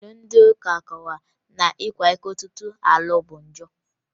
Iwu ndị ụka kọwara na ịkwa iko tupu a lụọ bụ njọ